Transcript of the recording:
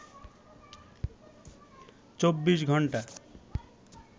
24 ঘন্টা